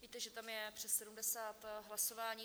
Víte, že tam je přes 70 hlasování.